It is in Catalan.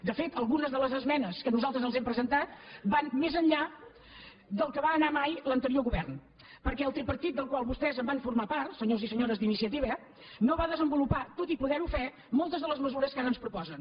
de fet algunes de les esmenes que nosaltres els hem presentat van més enllà del que va anar mai l’anterior govern perquè el tripartit del qual vostès van formar part senyors i senyores d’inicia·tiva no va desenvolupar tot i poder·ho fer moltes de les mesures que ara ens proposen